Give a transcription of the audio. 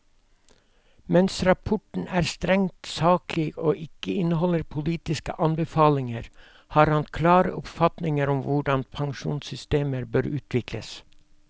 Mens rapporten er strengt saklig og ikke inneholder politiske anbefalinger, har han klare oppfatninger om hvordan pensjonssystemer bør utvikles.